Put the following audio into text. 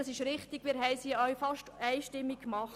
Das ist richtig und wurde auch fast einstimmig angenommen.